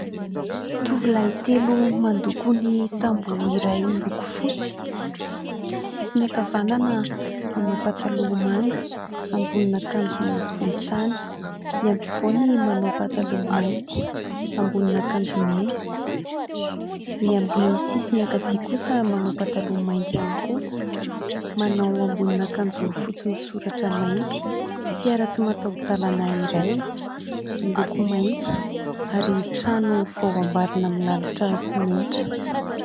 Tovolahy telo mandoko ny tamboho iray miloko fotsy. Ny sisiny ankavanana manao pataloha manga, ambonin'akanjo volontany ; ny ampovoany manao pataloha mainty, ambonin'akanjo mena ; ny amin'ny sisiny ankavia kosa manao pataloha mainty ihany koa, manao ambonin'akanjo fotsy misoratra mainty. Fiara tsy mataho-dalana iray miloko mainty ary trano vao amboarina milalotra simenitra.